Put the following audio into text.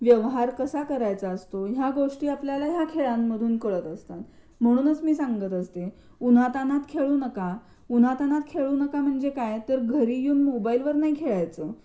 व्यवहार कसा करायचा असतो या गोष्टी आपल्याला या खेळांमधून कळत असतात म्हणूनच मी सांगत असते उन्हातानात खेळू नका. उन्हातानात खेळू नका म्हणजे काय, तर घरी येऊन मोबाईल वर नाही खेळायचं..